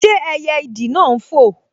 Ṣé ẹyẹ ìdì náà n fò?